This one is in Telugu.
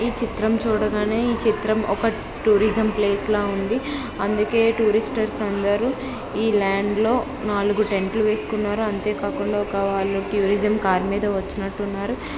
చిత్రం చూడగానే ఈ చిత్రం ఒక టూరిజం ప్లేస్ లో ఉంది అందుకే టూరిస్టర్స్ అందరూ ఈ ల్యాండ్లో నాలుగు టెంట్లు వేసుకున్నారు అంతే కాకుండా టూరిజం కారు మీద వచ్చినట్టున్నారు.